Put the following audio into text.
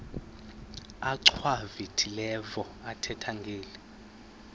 achwavitilevo ethetha ngeli